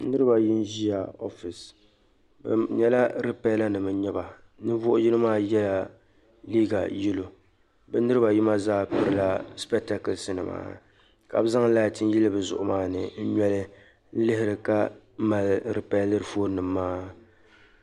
Niriba ayi n ziya ofiis bɛ nyɛla repellar nim n-nyɛ ba ninvuɣ'yino maa yela liiga "yellow" bɛ niriba ayi maa zaa pirila "specktacles" nima ka be zaŋ laati yili bɛ zuɣu maa ni n ŋmɛri n liɣiri ka mali reperliri fon nim maa